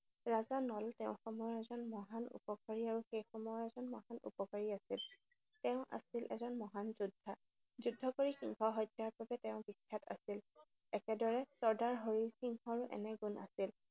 ৰজা নল তেওঁৰ সময়ৰ এজন মহান, উপকাৰী আৰু সেই সময়ৰ এজন মহান উপকাৰী আছিল। তেওঁ আছিল এজন মহান যোদ্ধা। যুদ্ধ কৰি সিংহ হত্যাৰ বাবে তেওঁ বিখ্যাত আছিল। একেদৰে চৰ্দাৰ হৰি সিঙৰো একে গুণ আছিল।